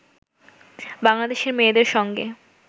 বাংলাদেশের মেয়েদের সঙ্গে